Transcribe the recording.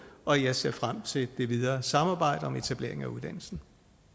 og jeg ser frem til det videre samarbejde om etablering af uddannelsen